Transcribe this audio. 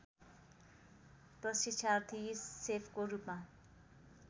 प्रशिक्षार्थी सेफको रूपमा